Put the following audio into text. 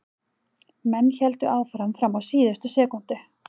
Menn héldu áfram fram á síðustu sekúndu.